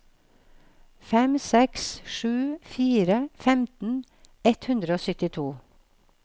fem seks sju fire femten ett hundre og syttito